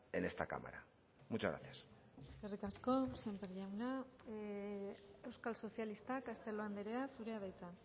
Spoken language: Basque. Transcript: en esta cámara muchas gracias eskerrik asko sémper jauna euskal sozialistak castelo andrea zurea da hitza